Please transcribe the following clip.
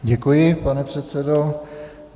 Děkuji, pane předsedo.